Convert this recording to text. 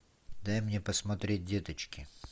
дай мне посмотреть деточки